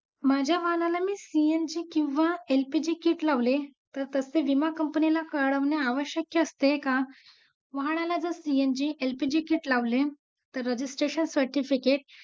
त्यामुळे मग कधी कधी आपल्याला पण test करावी लागते तो burger कसा लागतो तेव्हा आपण suggest वैगरे करू शकतो किंवा देऊ शकतो कळलं आणि sauce या मध्ये पण expiry date वगैरे सगळं एकूण एक process बघितले जात.